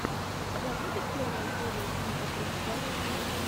у тебя будет первая серия винди тридцать один